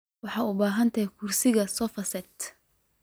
Waxan ubahanhy kursiga sofa set.